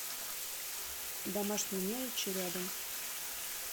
домашние мелочи рядом